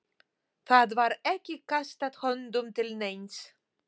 Það var ekki kastað höndum til neins.